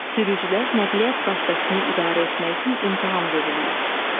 Sürücülər nəqliyyat vasitəsini idarə etmək üçün imtahan verirlər.